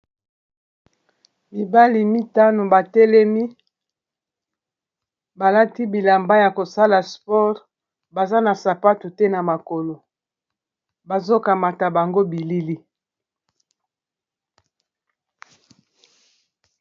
mibali mitano batelemi balati bilamba ya kosala spore baza na sapato te na makolo bazokamata bango bilili